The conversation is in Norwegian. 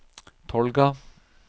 Tolga